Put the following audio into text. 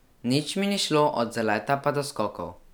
Nič mi ni šlo, od zaleta pa do skokov.